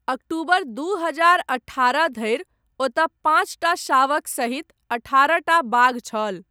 अक्टूबर दू हजार अठारह धरि, ओतय, पाञ्चटा शावक सहित अठारहटा बाघ छल।